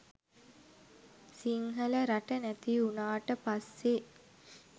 සිංහල රට නැති උනාට පස්සේ